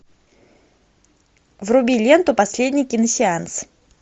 вруби ленту последний киносеанс